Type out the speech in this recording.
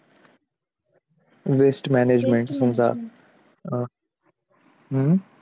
अं waste management समजा